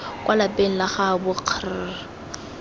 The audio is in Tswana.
kwa lapeng la gaabo kgr